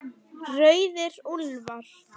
Rauðir úlfar